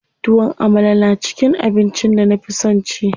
Tuwon Amala na cikin abincin da na fi son ci.